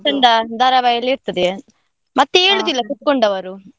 ಚೆಂದ ಧಾರಾವಾಹಿ ಎಲ್ಲಾ ಇರ್ತದೆ, ಮತ್ತೆ ಏಳುದಿಲ್ಲ ಕೂತ್ಕೊಂಡವರು.